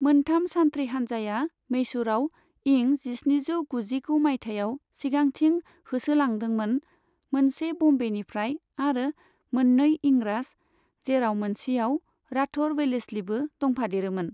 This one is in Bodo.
मोनथाम सानथ्रि हानजाया मेसुरआव इं जिस्निजौ गुजिगु मायथाइयाव सिगांथिं होसो लांदोमोन, मोनसे ब'म्बेनि फ्राय आरो मोननै इंराज, जेराव मोनसेयाव र्आथोर वेलेस्लिबो दंफादेरोमोन।